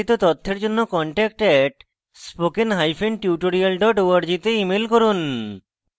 বিস্তারিত তথ্যের জন্য contact @spokentutorial org তে ইমেল করুন